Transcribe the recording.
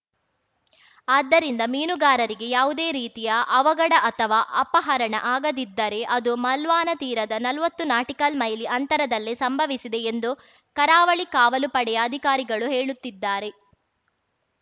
ಆದ್ದರಿಂದ ಮೀನುಗಾರರಿಗೆ ಯಾವುದೇ ರೀತಿಯ ಅವಘಡ ಅಥವಾ ಅಪಹರಣ ಆಗದಿದ್ದರೆ ಅದು ಮಾಲ್ವಾನ ತೀರದ ನಲ್ವತ್ತು ನಾಟಿಕಲ್‌ ಮೈಲಿ ಅಂತರದಲ್ಲೇ ಸಂಭವಿಸಿದೆ ಎಂದು ಕರಾವಳಿ ಕಾವಲು ಪಡೆಯ ಅಧಿಕಾರಿಗಳು ಹೇಳುತ್ತಿದ್ದಾರೆ